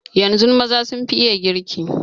Yanzun maza sun fi iya girki.